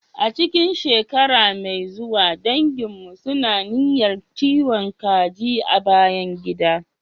A cikin shekara mai zuwa, danginmu suna niyyar kiwon kaji a bayan gida.